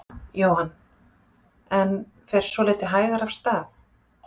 Jóhann: En fer svolítið hægar af stað?